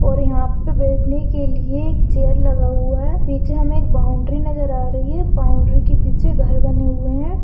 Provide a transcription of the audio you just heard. और यहा पर बैठने के लिए एक चेअर लगा हुआ है। पीछे हमे एक बौंड़री नजर आ रही है। बौंड़री के पीछे घर बने हुए है।